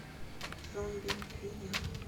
зомби видео